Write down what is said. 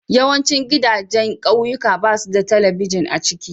Yawancin gidajen kauyuka babsu da telibijin a ciki.